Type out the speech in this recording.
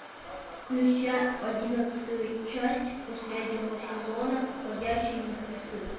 включай одиннадцатую часть последнего сезона ходячие мертвецы